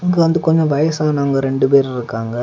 இங்க வந்து கொஞ்சம் வயசானவங்க ரெண்டு பேர் இருக்காங்க.